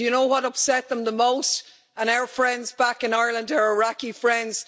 Do you know what upset them the most, and our friends back in Ireland who are Iraqi friends?